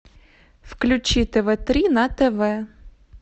включи тв три на тв